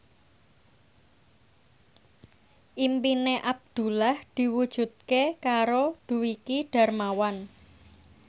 impine Abdullah diwujudke karo Dwiki Darmawan